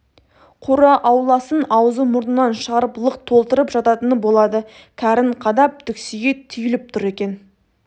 қора-ауласын аузы-мұрнынан шығарып лық толтырып жататыны болады кәрін қадап түксие түйіліп түр екен